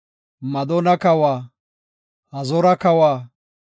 Madoona kawa, Hazoora kawa,